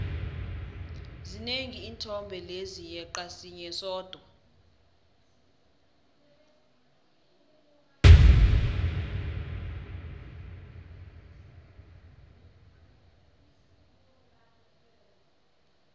zinengi iinthombe lezi yeqa sinye sodwa